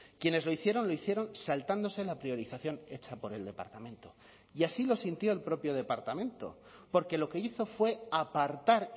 quienes lo hicieron lo hicieron saltándose la priorización hecha por el departamento y así lo sintió el propio departamento porque lo que hizo fue apartar